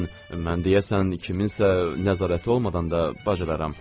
Mən mən deyəsən kimsə nəzarəti olmadan da bacararam.